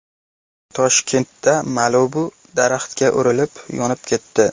Toshkentda Malibu daraxtga urilib, yonib ketdi.